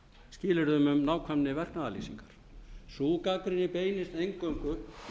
skilyrðum um nákvæmni verknaðarlýsingar sú gagnrýni beinist eingöngu